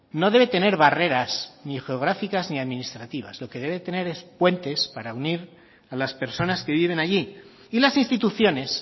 no debe tener barreras ni geográficas ni administrativas lo que debe tener es puentes para unir a las personas que viven allí y las instituciones